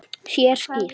Sér skýrt.